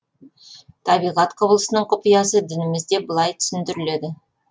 табиғат құбылысының құпиясы дінімізде былай түсіндіріледі